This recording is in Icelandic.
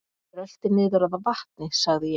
Rölti niður að vatni sagði ég.